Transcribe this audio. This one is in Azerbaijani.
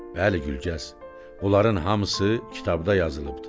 Bəli, Gülgəz, bunların hamısı kitabda yazılıbdır.